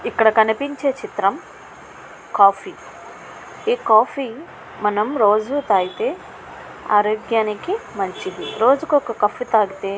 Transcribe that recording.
ఇక్కడ మనకు కనిపించే చిత్రం కాఫీ . కాఫీ రోజు తాగితే ఆరోగ్యానికి మంచిది. రోజు ఒక కప్పు తాగితే --